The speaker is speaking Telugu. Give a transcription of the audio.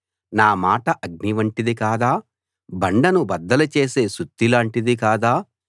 నా మాట అగ్ని వంటిది కాదా బండను బద్దలు చేసే సుత్తి లాంటిది కాదా